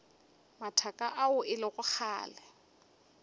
mathaka ao e lego kgale